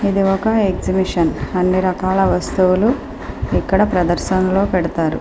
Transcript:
ఇది ఒక ఎగ్జిబిషన్ ఇందులో అన్ని రకాల వస్తువులు ప్రదర్శనకి పెడతారు.